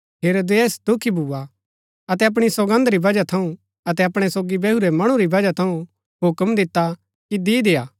अतै तसेरा सिर थाळा मन्ज रखी करी अन्दा अतै कुल्ळी जो दी दिता तैतिओ सो अपणी माता बलै लैई गई